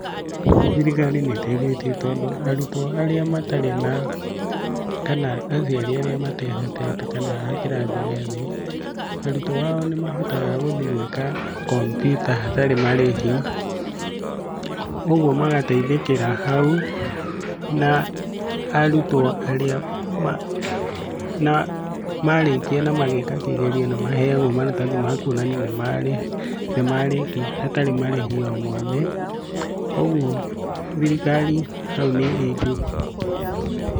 Thirikari nĩ ĩteithĩtie tondũ arutwo arĩa matarĩ na, kana aciari arĩa matehotete kana a kĩrathi gĩathĩ, arutwo ao nĩ mahotaga gũthiĩ gwĩka kompyuta hatarĩ marĩhi, ũguo magateithĩkĩra hau na arutwo arĩa marĩkia na mageka kĩgerio nĩ maheagwo maratathi ma kuonania nĩ marĩkia hatarĩ marĩhi o mothe, ũguo thirikari haũ nĩ ĩkĩte -